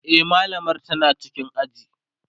e mallamar tana cikin aji